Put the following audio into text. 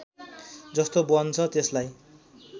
जस्तो बन्छ त्यसलाई